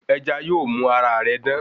Ẹja yóò mú ara rẹ dán